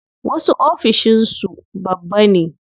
Wasu ofishin su babba ne.